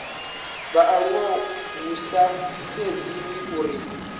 vhaaluwa hu sa sedziwi uri